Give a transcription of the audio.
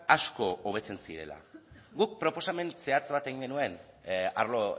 asko hobetzen zirela guk proposamen zehatz bat egin genuen arlo